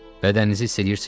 Bədəninizi hiss eləyirsiz?